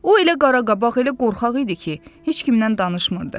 O elə qaraqabaq, elə qorxaq idi ki, heç kimlə danışmırdı.